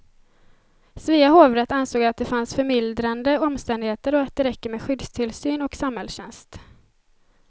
Svea hovrätt ansåg att det fanns förmildrande omständigheter och att det räcker med skyddstillsyn och samhällstjänst.